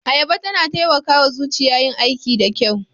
Ayaba na taimaka wa zuciya yin aiki da kyau